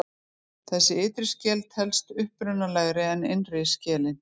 Þessi ytri skel telst upprunalegri en innri skelin.